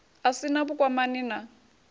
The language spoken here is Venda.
a si na vhukwamani na